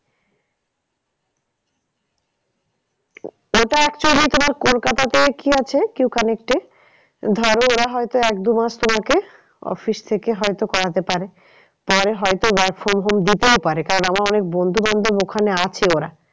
ওটা actually তোমার কলকাতাতে কি আছে Q connect এ ধরো ওরা হয়তো এক দুমাস তোমাকে office থেকে হয়তো করাতে পারে। পরে হয়তো work from home দিতেও পারে। কারণ আমার অনেক বন্ধু বান্ধব ওখানে আছে ওরা